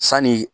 Sanni